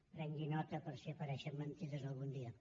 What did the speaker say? prengui nota per si apareixen mentides algun dia